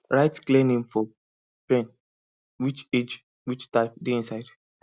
write clear name for pen which age which type dey inside